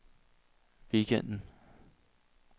weekenden